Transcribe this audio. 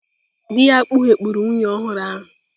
Dị ya kpughepụrụ nwunye ọhụrụ ahụ.